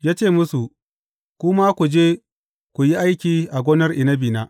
Ya ce musu, Ku ma ku je ku yi aiki a gonar inabina.’